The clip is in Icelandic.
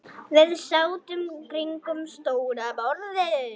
Við sátum kringum stóra borðið.